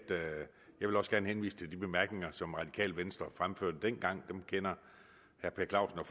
vil også gerne henvise til de bemærkninger som radikale venstre fremførte dengang dem kender herre per clausen og